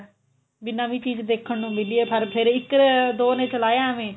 ਵੀ ਨਵੀਂ ਚੀਜ਼ ਦੇਖਣ ਨੂੰ ਮਿਲੀ ਏ ਪਰ ਫੇਰ ਇੱਕ ਦੋ ਨੇ ਚਲਾਇਆ ਐਵੇਂ